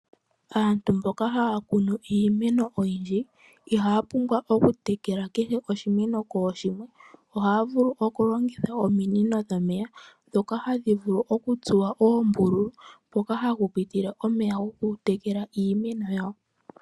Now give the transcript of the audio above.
Aantu mboka haa kunu iimeno oyindji ihaa pumbwa okutekela kehe oshimeno kooshimwe ,ohaa vulu okulongitha ominino dhomeya ndhoka hadhi vulu okutsuwa oombululu mpoka hapu pitile omeya gokutekela iimeno yawo.